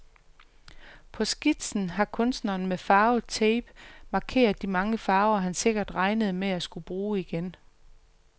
På skitsen har kunstneren med farvet tape markeret de mange farver, han sikkert regnede med at skulle bruge igen.